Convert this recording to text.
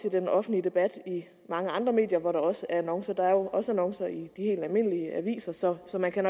i den offentlige debat i mange andre medier hvor der også er annoncer der er jo også annoncer i de helt almindelige aviser så så man kan